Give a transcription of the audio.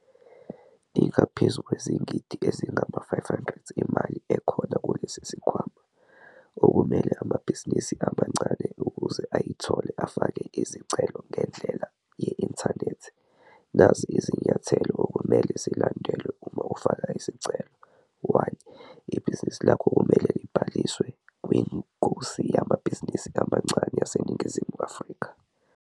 Ingaphezu kwezigidi ezingama-R500 imali ekhona kulesi sikhwama, okumele amabhizinisi amancane ukuze ayithole afake izicelo ngendlela ye-inthanethi. Nazi izinyathelo okumele zilandelwe uma ufaka isicelo- 1. Ibhizinisi lakho kumele libhaliswe kwingosi Yamabhizinisi Amancane YaseNingizimu Afrika.